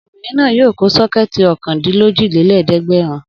Obìnrin náà yóò kó sọ́kẹ́tì ọ̀kàndílójìlé lẹ́ẹ̀dẹ́gbẹ̀rún.